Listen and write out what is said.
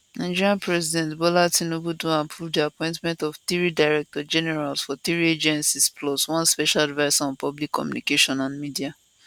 nigeria president bola tinubu don approve di appointment of three directorsgeneral for three agencies plus one special adviser on public communications and media